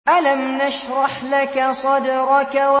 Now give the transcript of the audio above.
أَلَمْ نَشْرَحْ لَكَ صَدْرَكَ